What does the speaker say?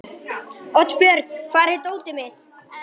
Oddbjörg, hvar er dótið mitt?